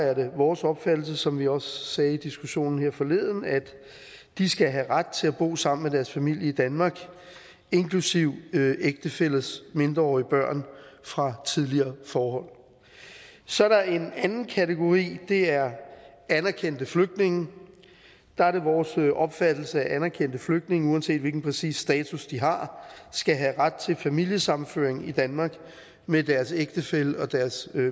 er det vores opfattelse som vi også sagde i diskussionen her forleden at de skal have ret til at bo sammen med deres familie i danmark inklusive ægtefællers mindreårige børn fra tidligere forhold så er der en anden kategori og det er anerkendte flygtninge der er det vores opfattelse at anerkendte flygtninge uanset hvilken præcis status de har skal have ret til familiesammenføring i danmark med deres ægtefælle og deres